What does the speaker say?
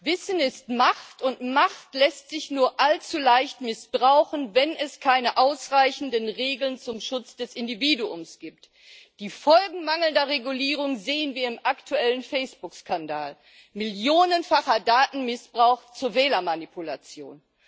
Wissen ist Macht, und Macht lässt sich nur allzu leicht missbrauchen, wenn es keine ausreichenden Regeln zum Schutz des Individuums gibt. Die Folgen mangelnder Regulierung sehen wir im aktuellen Facebook Skandal millionenfacher Datenmissbrauch zur Wählermanipulation.